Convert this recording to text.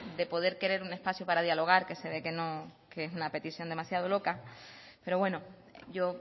de poder querer un espacio para dialogar que se ve que es una petición demasiado loca pero bueno yo